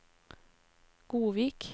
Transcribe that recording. Godvik